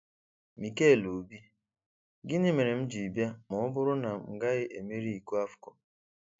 Mikel Obi: Gịnị mere m ji bịa ma ọ bụrụ na m gaghị emeri iko AFCON?